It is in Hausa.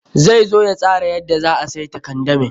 Zai zo ya tsara yadda za a saita kandamin.